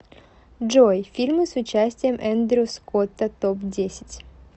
джой фильмы с участием эндрю скотта топ десять